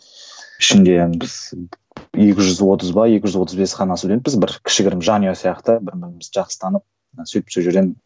ішінде біз екі жүз отыз ба екі жүз отыз бес қана студентпіз бір кішігірім жанұя сияқты бір бірімізді жақсы танып сөйтіп